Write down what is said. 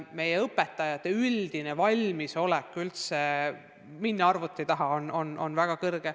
Meie õpetajate üldine valmisolek arvuti taha õpetama minna on olnud väga suur.